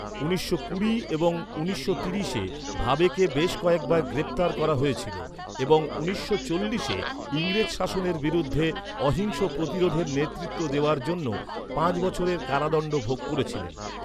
উনিশশো কুড়ি এবং উনিশশো তিরিশে ভাবেকে বেশ কয়েকবার গ্রেপ্তার করা হয়েছিল এবং উনিশশো চল্লিশে ইংরেজ শাসনের বিরুদ্ধে অহিংস প্রতিরোধের নেতৃত্ব দেওয়ার জন্য পাঁচ বছরের কারাদণ্ড ভোগ করেছিলেন।